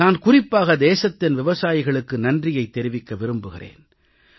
நான் குறிப்பாக தேசத்தின் விவசாயிகளுக்கு நன்றியைத் தெரிவிக்க விரும்புகிறேன்